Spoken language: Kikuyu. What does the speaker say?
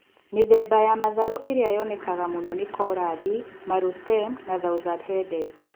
Mĩthemba ya matharũ ĩrĩa yonekaga mũno ni collardi, marrow stem na thousand headed.